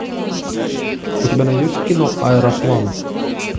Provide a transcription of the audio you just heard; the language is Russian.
у тебя найдется кино аэроплан